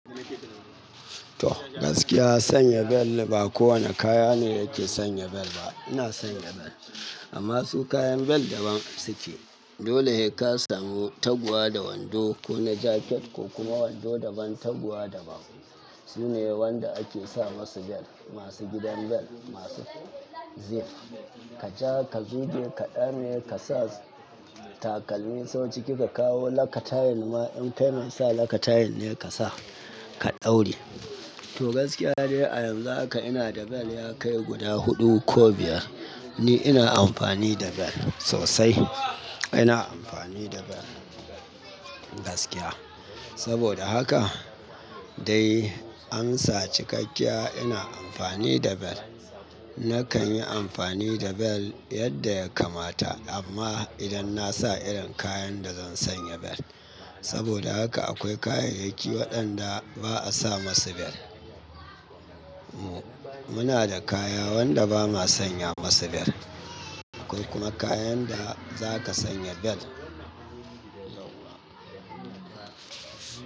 To, gaskiya sanya bel ba kowane kaya ne ke sanya bel ba. Ina sanya bel amma su kayan bel daban suke. Dole in ka samu taguwa da wando ko na jaket ko kuma wando daban taguwa daban. Shine wanda ake sa masu bel, masu gidan bel, masu zip, ka ja, ka zuge, ka zame takalmin sau ciki ka kawo lakatarin ma in kai mai sa lakatarin ne ka sa ka ɗauri. To gaskiya dai a yanzu haka ina da bel ya kai guda huɗu ko biyar. Ni ina amfani da bel sosai. Ina amfani da bel gaskiya. Saboda haka dai amsa cikakkiya ina amfani da bel. Nakan yi amfani da bel yadda ya kamata amma idan na sa irin kayan da zan sanya bel. Saboda haka akwai kayayyaki waɗanda ba a sa masu bel. Mu muna da kaya wanda ba ma sanya masa bel. Akwai kuma kayan da za ka sanya bel.